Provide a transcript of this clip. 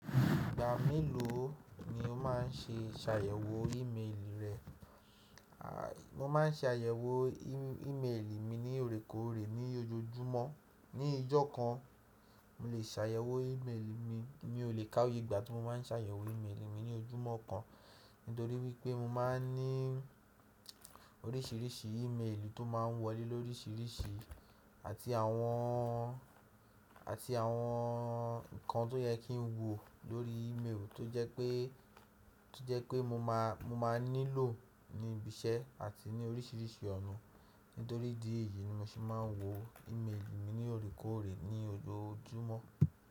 Ìgbà mélòó ni o má ń ṣe sàyẹ̀wò ìméèlì rẹ? A, mo má ń ṣe àyẹ̀wò í-ìméèlì mi ní loòrékòórẹ́ ní ojoojúmọ́. Ni ijọ́ kan, mo lè ṣàyẹ̀wò ìméèlì mi mí o lè ká oyé ìgbà tí mo má ń ṣàyẹ̀wò ìméèlì mi ní ojúmọ́ kan, nítorí wípé mo má ń ní oríṣìíríṣìí ìméèlì tó má ń wọlé lóríṣìíríṣìí àti àwọn, àti àwọn nǹkan tó yẹ kí n wò lórí ìméèlì tó jẹ pé, tó jẹ pé mo má, mo má nílò ní ibi iṣẹ́ àti ní oríṣìíríṣìí ọ̀nà. Nítorí idí èyí ni mo ṣe má ń wò ìméèlì mi ní loòrékòórẹ́ ní ojoojúmọ́.